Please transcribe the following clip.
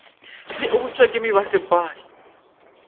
le o bopšwa ke mebasepala